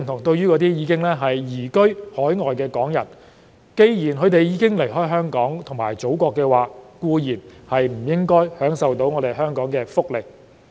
對於已經移居海外的港人，既然他們已經離開香港及祖國，固然不應享受香港的福利。